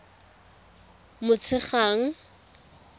motshegang